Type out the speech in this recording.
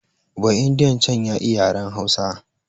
Ba'indiyan can ya iya yaren Hausa